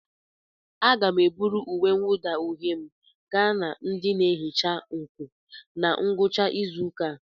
Aga m eburu uwe mwụda uhie m gaa na ndị na-ehicha nkụ na ngwụcha izu ụka a.